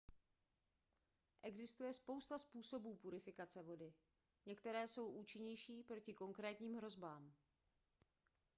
existuje spousta způsobů purifikace vody některé jsou účinnější proti konkrétním hrozbám